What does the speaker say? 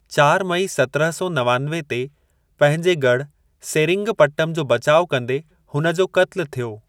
चार मई सत्रहं सौ नवानवे ते पंहिंजे गढ़ु सेरिंगपट्टम जो बचाउ कंदे हुन जो क़त्लु थियो।